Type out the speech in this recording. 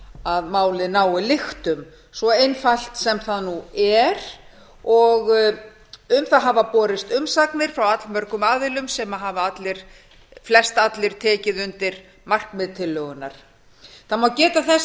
að málið nái lyktum svo einfalt sem það er um það hafa borist umsagnir frá allmörgum aðilum sem hafa flestallir tekið undir markmið tillögunnar það má geta þess að